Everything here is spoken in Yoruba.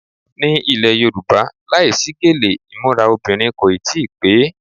Ni ilẹ̀ Yorùbá, láìsí gèlè imura obìnrin kò tí ì pè é.